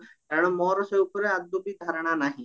କାରଣ ମୋର ଏସବୁ ଉପରେ ଆଦୌ ବି ଧାରଣ ନାହି